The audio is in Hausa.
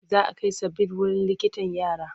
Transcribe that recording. Za a kai Sabir wurin likitan yara.